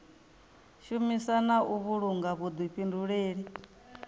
shumisa na u vhulunga vhuḓifhinduleli